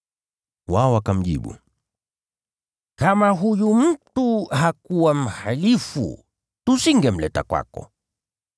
Wao wakamjibu, “Kama huyu mtu hakuwa mhalifu tusingemleta kwako.”